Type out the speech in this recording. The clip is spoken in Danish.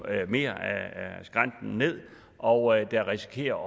mere af skrænten ned og der risikerer